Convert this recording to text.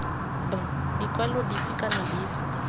b ditlwaelo dife kana dife